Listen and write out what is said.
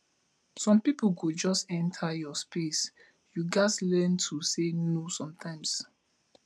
some pipo go just enter your space you gatz learn to say no sometimes